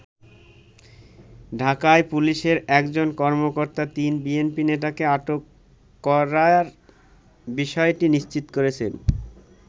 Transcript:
ঢাকায় পুলিশের একজন কর্মকর্তা তিন বিএনপি নেতাকে আটক করার বিষয়টি নিশ্চিত করেছেন।